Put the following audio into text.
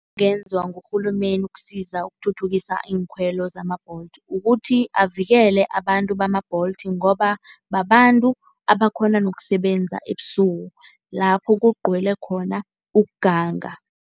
Into engenzwa ngurhulumeni ukusiza ukuthuthukisa iinkhwelo zama-Bolt. Kukuthi avikele abantu bama-Bolt ngoba babantu abakhona nokusebenza ebusuku lapho kugcwele khona ukuganga.